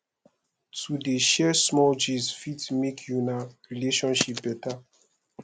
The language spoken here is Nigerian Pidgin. to dey share small gist fit make una relationship beta